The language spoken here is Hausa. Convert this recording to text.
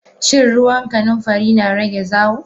Shan ruwan kanunfari na rage zawo.